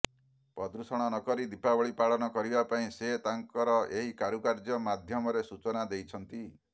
ପ୍ରଦୂଷଣ ନକରି ଦୀପାବଳୀ ପାଳନ କରିବା ପାଇଁ ସେ ତାଙ୍କର ଏହି କାରୁକାର୍ଯ୍ୟ ମାଧ୍ୟମରେ ସୂଚନା ଦେଇଛନ୍ତି